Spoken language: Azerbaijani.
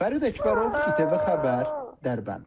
Fərid Əkbərov İTV xəbər, Dərbənd.